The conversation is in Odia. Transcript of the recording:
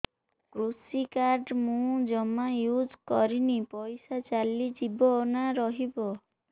କୃଷି କାର୍ଡ ମୁଁ ଜମା ୟୁଜ଼ କରିନି ପଇସା ଚାଲିଯିବ ନା ରହିବ